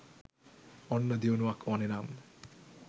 ඔන්න දියුණුවක් ඕනෙ නම්